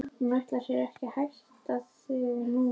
Hún ætlar sér ekki að hitta þig núna.